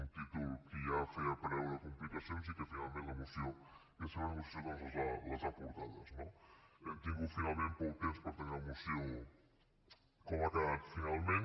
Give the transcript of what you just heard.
un títol que ja feia preveure complicacions i que finalment la moció i la seva negociació doncs les ha portades no hem tingut finalment poc temps per tenir la moció com ha quedat finalment